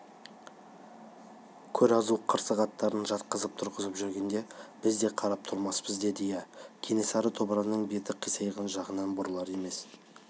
көр-азу қырсық аттарын жатқызып-тұрғызып жүргенде біз де қарап тұрмаспыз деді иә кенесары тобырының беті қисайған жағынан бұрылар емес